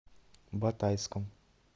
батайском